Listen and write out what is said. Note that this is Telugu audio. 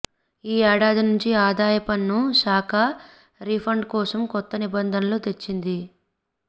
ఈ ఏడాది నుంచి ఆదాయ పన్ను శాఖ రీఫండ్ కోసం కొత్త నిబంధనలను తెచ్చింది